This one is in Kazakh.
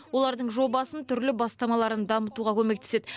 олардың жобасын түрлі бастамаларын дамытуға көмектеседі